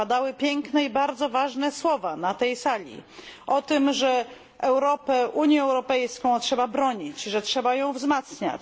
Padały piękne i bardzo ważne słowa na tej sali o tym, że Unii Europejskiej trzeba bronić, że trzeba ją wzmacniać.